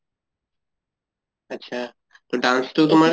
আত্চ্ছা তʼ dance তো তোমাৰ